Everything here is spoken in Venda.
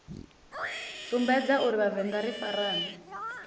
sumbedza uri vhavenḓa ri farane